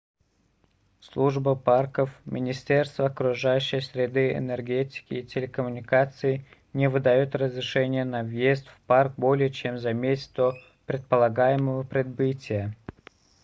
служба парков министерство окружающей среды энергетики и телекоммуникаций не выдаёт разрешения на въезд в парк более чем за месяц до предполагаемого прибытия